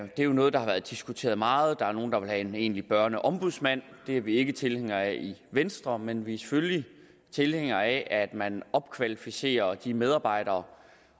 det er noget der har været diskuteret meget der er nogle der vil have en egentlig børneombudsmand det er vi ikke tilhængere af i venstre men vi er selvfølgelig tilhængere af at man opkvalificerer de medarbejdere